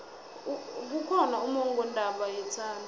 kukhona ummongondaba yethando